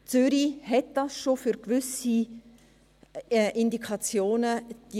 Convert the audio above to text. Zürich hat diese Fallzahlen pro Operateur für gewisse Indikationen schon.